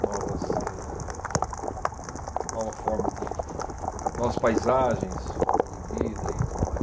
novas eh, nova forma de, novas paisagens, forma de vida e tudo mais.